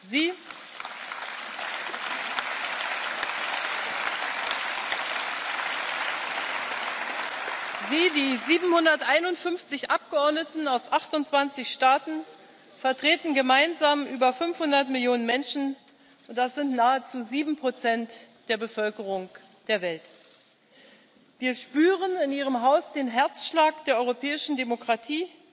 Sie, die 751 Abgeordneten aus 28 Staaten, vertreten gemeinsam über 500 Millionen Menschen das sind nahezu sieben Prozent der Bevölkerung der Welt. Wir spüren in Ihrem Haus den Herzschlag der europäischen Demokratie.